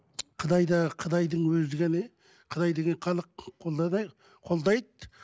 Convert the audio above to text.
қытайда қытайдың өзі ғана қытай деген халық қолдайды